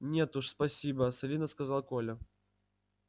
нет уж спасибо солидно сказал коля